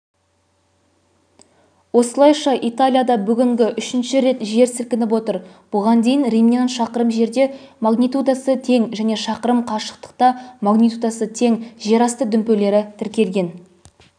осылайша италияда бүгін үшінші рет жер сілкініп отыр бұған дейін римнен шақырым жерде магнитудасы тең және шақырым қашықтықта магнитудасы тең жерасты дүмпулері тіркелген